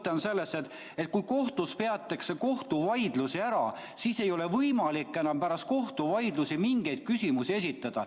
Mõte on selles, et kui kohtus peetakse kohtuvaidlus ära, siis ei ole võimalik pärast kohtuvaidlust mingeid küsimusi esitada.